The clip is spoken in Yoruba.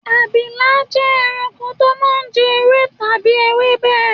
Abilà jẹ́ ẹranko tó máa ń jẹ ewé àbí ewébè